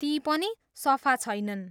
ती पनि सफा छैनन्।